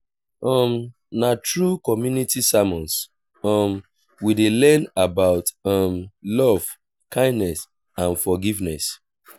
um na through community sermons um we dey learn about um love kindness and forgiveness.